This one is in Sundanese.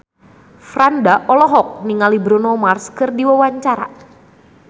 Franda olohok ningali Bruno Mars keur diwawancara